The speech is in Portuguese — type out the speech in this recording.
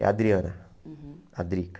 É Adriana, a Drica.